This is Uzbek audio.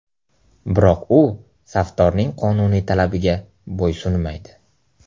Biroq u safdorning qonuniy talabiga bo‘ysunmaydi.